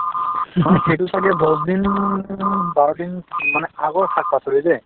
মানে সেইটো ছাগে দহ দিন বাৰদিন মানে আগৰ শাক-পাচলি দে